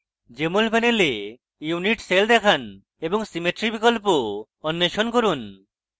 jmol panel unit cell দেখান এবং symmetry বিকল্প অন্বেষণ করুন